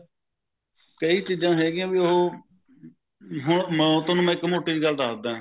ਕਈ ਚੀਜਾਂ ਹੈਗਿਆ ਵੀ ਉਹ ਹੋਰ ਮੈਂ ਤੁਹਾਨੂੰ ਇੱਕ ਮੋਟੀ ਜਿਹੀ ਗੱਲ ਦੱਸਦਾ